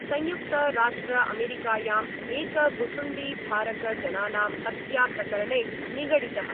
संयुक्तराष्ट्रअमेरिकायां एक भुशुण्डिधारक जनानां हत्या प्रकरणे निगडितः।